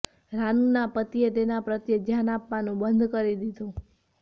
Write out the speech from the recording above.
રાનૂના પતિએ તેના પ્રત્યે ધ્યાન આપવાનું બંધ કરી દીધું